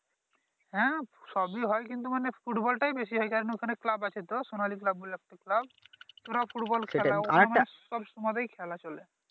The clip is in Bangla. হ্যাঁ সবই হয় কিন্তু মানে ফুটবল টাই বেশি হয় এই কারনে ওইখানে ক্লাব আছে তো সোনালি ক্লাব বলে একটা ক্লাব সব সময়তে খেলা চলে